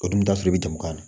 O dun t'a sɔrɔ i bɛ jamu na